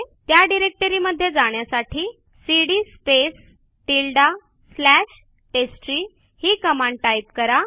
त्या डिरेक्टरीमध्ये जाण्यासाठी cd space tilde slash test tree ही कमांड टाईप करा